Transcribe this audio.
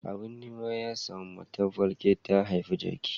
Abin nema ya samu, matar falke ta haifi jaki.